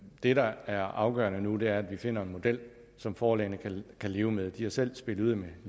det der er afgørende nu er at vi finder en model som forlagene kan leve med de har selv spillet ud med